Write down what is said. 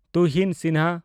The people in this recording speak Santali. ᱛᱩᱦᱤᱱ ᱥᱤᱱᱦᱟ